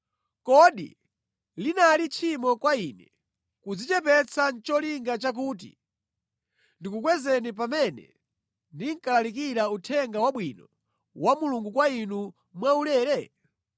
Kodi linali tchimo kwa ine kudzichepetsa nʼcholinga chakuti ndikukwezeni pamene ndinkalalikira Uthenga Wabwino wa Mulungu kwa inu mwaulere?